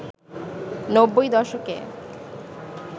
৯০ দশকে